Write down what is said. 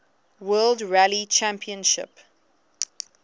world rally championship